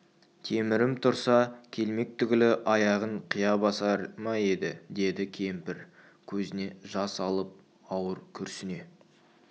темірім тұрса келмек түгілі аяғын қия басар ма еді деді кемпір көзіне жас алып ауыр күрсіне